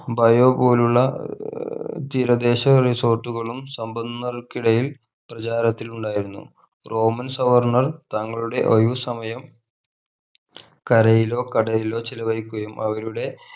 bio പോലുള്ള ഏർ തീരദേശ resort കളും സമ്പന്നകൾക്കിടയിൽ പ്രചാരത്തിൽ ഉണ്ടായിരുന്നു roman സവർണർ താങ്കളുടെ ഒഴിവ് സമയം കരയിലോ കടലിലോ ചിലവഴിക്കുകയും അവരുടെ